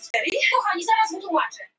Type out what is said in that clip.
Miskunnarleysi þess er yfirþyrmandi.